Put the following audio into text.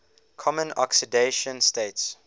common oxidation states